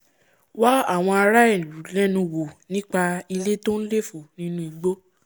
wá àwọn ará ìlú lẹ́nu wò nípa ilé tó nléfò nínú igbó